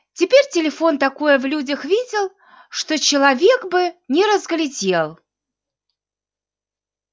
теперь телефон такое в людях видел что человек бы не разглядел